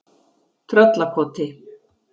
Tröllakoti